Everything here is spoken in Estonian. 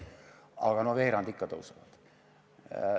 Aga no veerandi ikka tõusevad.